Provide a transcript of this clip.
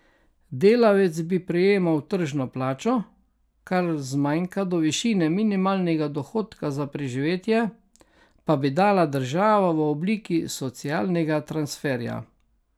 Delavec bi prejemal tržno plačo, kar zmanjka do višine minimalnega dohodka za preživetje, pa bi dala država v obliki socialnega transferja.